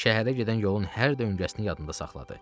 Şəhərə gedən yolun hər döngəsini yadında saxladı.